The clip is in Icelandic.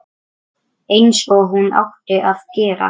Einsog hún átti að gera.